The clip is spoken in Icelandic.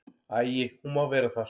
Æi, hún má vera þar.